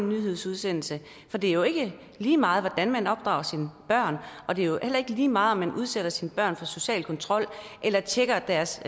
nyhedsudsendelse for det er jo ikke lige meget hvordan man opdrager sine børn og det er heller ikke lige meget om man udsætter sine børn for social kontrol eller tjekker deres